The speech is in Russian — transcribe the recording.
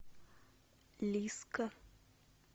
лиска